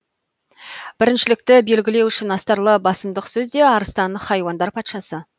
біріншілікті белгілеу үшін астарлы басымдық сөзде арыстан хайуандар патшасы